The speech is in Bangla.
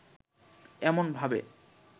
এমন ভাবে